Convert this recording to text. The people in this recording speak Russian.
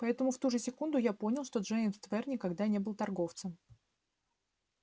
поэтому в ту же секунду я понял что джеймс твер никогда не был торговцем